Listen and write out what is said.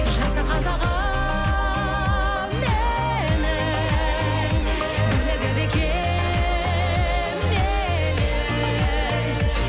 жаса қазағым менің бірлігі бекем елім